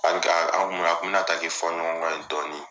Ha ka , anw kun bi na, a kun bi na taa kɛ fɔ ɲɔgɔn kɔ ye dɔɔni.